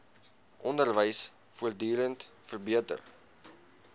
onderwys voortdurend verbeter